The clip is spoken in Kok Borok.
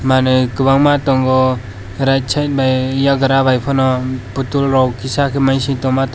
manui kobangma tongo right side bai yagra bai pono potol rok kisa maising tongma tongo.